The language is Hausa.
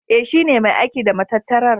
E, shi ne mai aiki da matattarar.